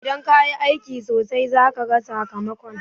Idan ka yi aiki sosai, za ka gan sakamakon.